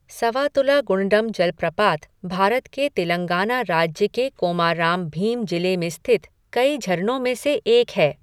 सवातुला गुण्डम जलप्रपात भारत के तेलंगाना राज्य के कोमाराम भीम जिले में स्थित कई झरनों में से एक है।